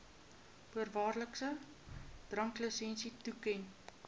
voorwaardelike dranklisensie toeken